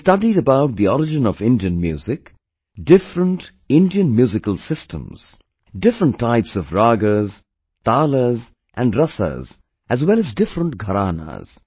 He has studied about the origin of Indian music, different Indian musical systems, different types of ragas, talas and rasas as well as different gharanas